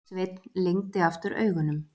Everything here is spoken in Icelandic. Sveinn lygndi aftur augunum.